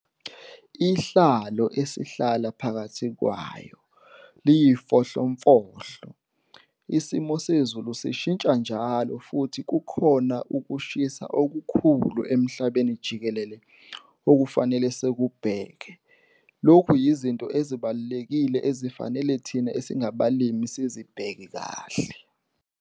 Inhlalo esihlala phakathi kwayo liyifohlomfohlo, isimo sezulu sishintsha njalo futhi kukhona ukushisa okukhulu emhlabeni jikelele okufanele sikubheke. Lokhu yizinto ezibalulekile ezifanele thina esingabalimi sizibheke kahle.